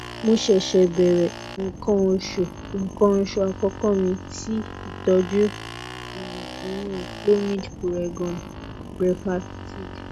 mo se se bẹrẹ ikan osu ikan osu akoko mi ti itọju um oyun clomid puregon brevactid